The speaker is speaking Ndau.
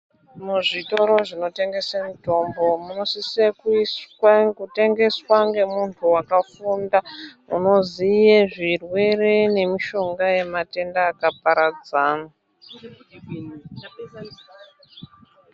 Muzvitoro zvinotengese mitombo munosise kuiswa kutengeswa ngemuntu wakafunda unoziye zvirwere nemushonga yematenda akaparadzana .